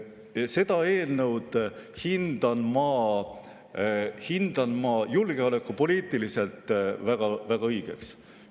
Seda eelnõu hindan ma julgeolekupoliitiliselt väga õigeks.